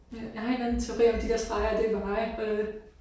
Ja jeg har en eller anden teori om at de der streger det er veje øh